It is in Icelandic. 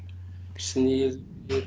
sniðugir